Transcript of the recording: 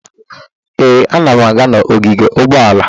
Ee, ana m aga n'ogige ụgbọala.